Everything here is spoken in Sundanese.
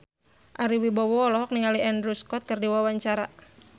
Ari Wibowo olohok ningali Andrew Scott keur diwawancara